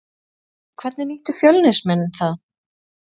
Hvernig nýttu Fjölnismenn það?